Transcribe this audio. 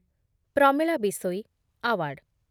Pramila Bishoyi award